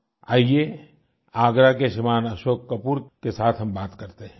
आइए आगरा के श्रीमान अशोक कपूर के साथ हम बात करते हैं